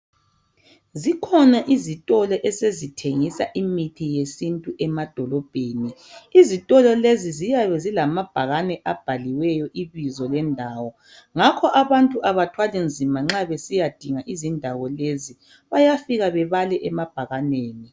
Zikhona izitolo esezithengisa imithi yesintu emadolobheni. lzitolo lezi ziyabe zilamabhakane abhaliweyo ibizo lendawo ngakho ke abantu abathwali nzima nxa besiyadinga indawo lezi bayafika babale emabhakaneni